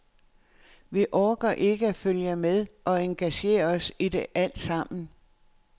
Vi orker ikke at følge med og engagere os i det alt sammen.